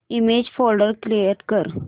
image folder create कर